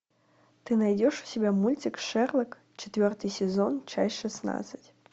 ты найдешь у себя мультик шерлок четвертый сезон часть шестнадцать